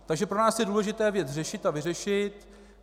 Takže pro nás je důležité věc řešit a vyřešit.